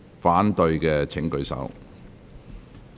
反對的請舉手。